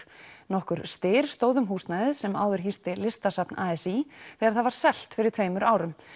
nokkur styr stóð um húsnæðið sem áður hýsti Listasafn a s í þegar það var selt fyrir tveimur árum